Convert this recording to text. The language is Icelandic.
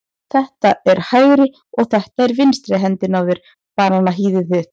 Þetta er hægri og þetta er vinstri hendin á þér, bananahýðið þitt.